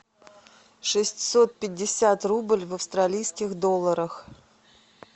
шестьсот пятьдесят рубль в австралийских долларах